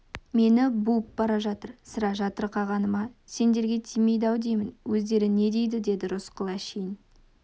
мені буып бара жатыр сірә жатырқағаны ма сендерге тимейді-ау деймін өздері не дейді деді рысқұл әшейін